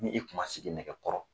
Ni i tun ma sigi nɛgɛkɔrɔ